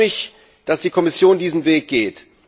Ich freue mich, dass die Kommission diesen Weg geht.